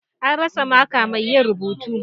An rasa maka mai yin rubutu.